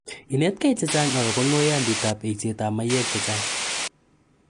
Inetkei che chang' akopa ng'oiyantiitap eisetap mayek che chang'